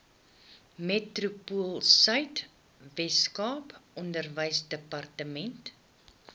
metropoolsuid weskaap onderwysdepartement